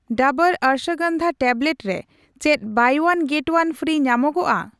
ᱰᱟᱵᱩᱨ ᱚᱥᱵᱚᱜᱚᱱᱫᱷᱟ ᱴᱮᱵᱞᱮᱴ ᱨᱮ ᱪᱮᱫ 'buy one get one free' ᱧᱟᱢᱚᱜᱚᱠᱼᱟ ?